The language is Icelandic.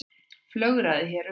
Flögraði hérna um.